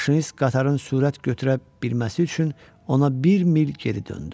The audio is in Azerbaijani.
Maşinist qatarın sürət götürə bilməsi üçün ona bir mil geri döndü.